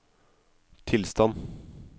tilstand